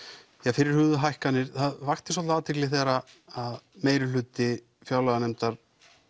fyrirhuguðu hækkanir það vakti svolitla athygli þegar meirihluti fjárlaganefndar